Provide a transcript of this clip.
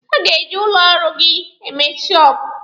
Ha ga-eji ụlọ ọrụ gị eme shọọpụ.